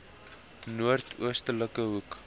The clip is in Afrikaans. noord oostelike hoek